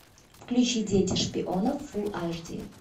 включи дети шпионов фулл аш ди